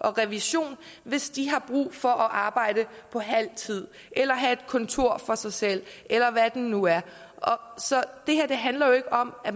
og revision hvis de har brug for at arbejde på halv tid eller have et kontor for sig selv eller hvad det nu er så det her handler jo ikke om at